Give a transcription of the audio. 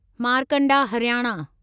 Markanda Haryana